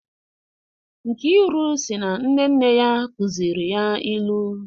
Nkiru si na nne nne ya kuzịrị ya ilu